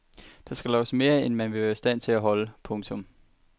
Der loves mere end man vil være i stand til at holde. punktum